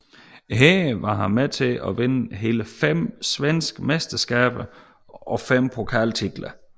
Her var han med til at vinde hele fem svenske mesterskaber og fem pokaltitler